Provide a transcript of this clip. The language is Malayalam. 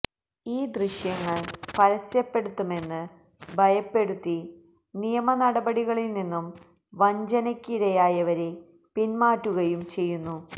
ഈ ദൃശ്യങ്ങൾ പരസ്യപ്പെടുത്തുമെന്ന് ഭയപ്പെടുത്തി നിയമനടപടികളിൽ നിന്നും വഞ്ചനയ്ക്ക് ഇരയായവരെ പിന്മാറ്റുകയും ചെയ്യുന്നു